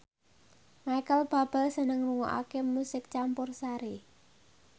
Micheal Bubble seneng ngrungokne musik campursari